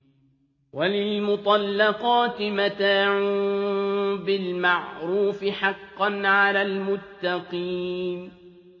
وَلِلْمُطَلَّقَاتِ مَتَاعٌ بِالْمَعْرُوفِ ۖ حَقًّا عَلَى الْمُتَّقِينَ